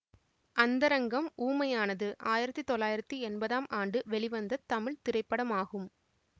அந்தரங்கம் ஊமையானது ஆயிரத்தி தொள்ளாயிரத்தி எம்பதாம் ஆண்டு வெளிவந்த தமிழ் திரைப்படமாகும்